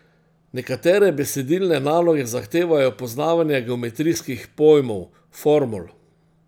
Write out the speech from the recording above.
Nekatere besedilne naloge zahtevajo poznavanje geometrijskih pojmov, formul ...